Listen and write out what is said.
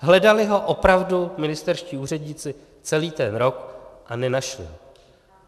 Hledali ho opravdu ministerští úředníci celý ten rok, ale nenašli.